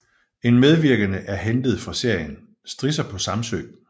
En medvirkende er hentet fra serien Strisser på Samsø